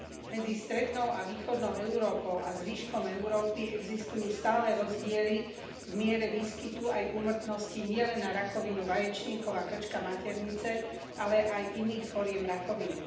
Medzi strednou a východnou Európou a zvyškom Európy existujú stále rozdiely v miere výskytu aj úmrtnosti nielen na rakovinu vaječníkov a krčka maternice, ale aj iných foriem rakoviny.